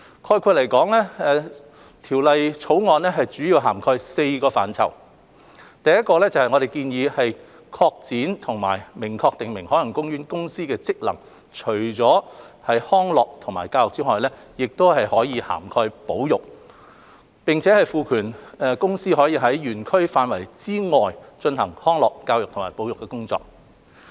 概括而言，《條例草案》主要涵蓋4個範疇：第一，我們建議擴展和明確訂明海洋公園公司的職能，即除卻康樂和教育外，亦涵蓋保育；並賦權公司可在園區範圍以外進行康樂、教育及保育的工作。